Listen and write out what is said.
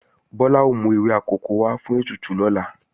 Bọ́lá ó mú ewé akòko wá fún ètùtù lọ́la